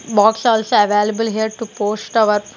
Box also available here to post our--